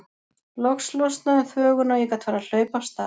Loks losnaði um þvöguna og ég gat farið að hlaupa af stað.